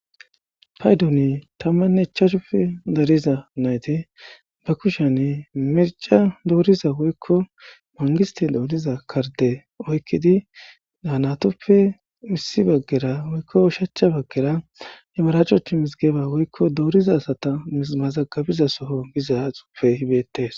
paydoni tammanne chashupe dariza nayti ba kushen mirca dooriza woykko mangisti dooniza karde oykkidi daanatoppe misi baggera woykko shachcha baggera imaraachochu misigeba woykko dooriza asata mazagabiza soho giza xuufe hibeettes